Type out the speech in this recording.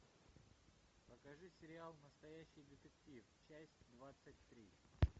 покажи сериал настоящий детектив часть двадцать три